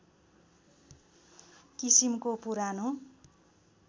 किसिमको पुरानो